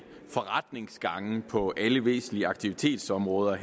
forretningsgange på alle væsentlige aktivitetsområder